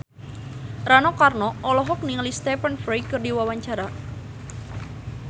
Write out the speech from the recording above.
Rano Karno olohok ningali Stephen Fry keur diwawancara